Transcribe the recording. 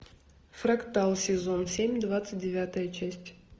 фрактал сезон семь двадцать девятая часть